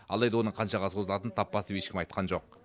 алайда оның қаншаға созылатынын тап басып ешкім айтқан жоқ